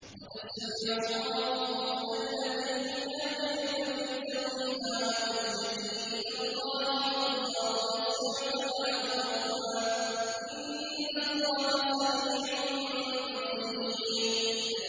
قَدْ سَمِعَ اللَّهُ قَوْلَ الَّتِي تُجَادِلُكَ فِي زَوْجِهَا وَتَشْتَكِي إِلَى اللَّهِ وَاللَّهُ يَسْمَعُ تَحَاوُرَكُمَا ۚ إِنَّ اللَّهَ سَمِيعٌ بَصِيرٌ